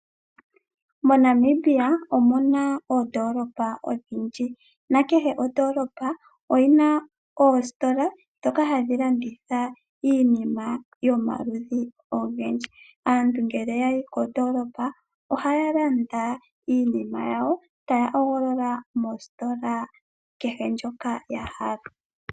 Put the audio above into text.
MoNamibia omu na oondoolopa odhindji, nakehe ondoolopa omu na oositola ndhoka hadhi landitha iinima yomaludhi ogendji. Aantu ngele ya yi kondoolopa ohaya landa iinima yawo, taya hogolola moositola kehe ndjoka ya hala.